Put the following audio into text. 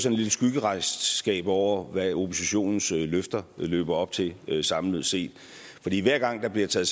et lille skyggeregnskab over hvad oppositionens løfter løber op til samlet set fordi hver gang der bliver taget